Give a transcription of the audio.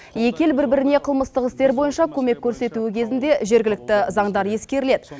екі ел бір біріне қылмыстық істер бойынша көмек көрсетуі кезінде жергілікті заңдар ескеріледі